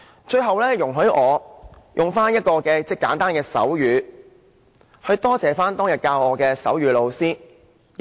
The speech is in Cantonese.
最後，容許我以簡單的手語來感謝當天教導我手語的老師。